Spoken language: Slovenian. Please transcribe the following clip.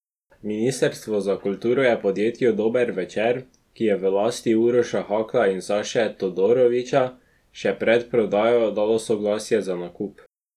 Ministrstvo za kulturo je podjetju Dober večer, ki je v lasti Uroša Hakla in Saše Todorovića, še pred prodajo dalo soglasje za nakup.